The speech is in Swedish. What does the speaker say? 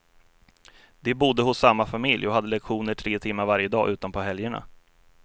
De bodde hos samma familj och hade lektioner tre timmar varje dag utom på helgerna.